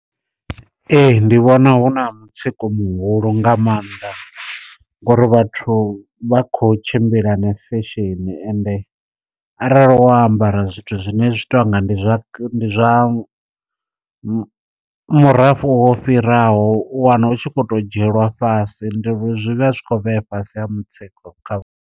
Ee ndi vhona hu na mutsiko muhulu nga maanḓa, ngori vhathu vha kho tshimbila na fesheni ende arali wo ambara zwithu zwine zwi to anga ndi zwa ndi zwa murafho wo fhiraho, u wana hu tshi kho to dzhielwa fhasi ndi zwi vha zwi khou vhea fhasi ha mutsiko kha.